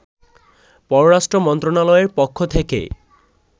পররাষ্ট্র মন্ত্রণালয়ের পক্ষ থেকে